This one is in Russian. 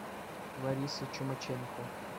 ларисы чумаченко